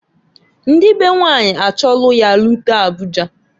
Ndi be nwanyị achọlụ ya rute Abuja.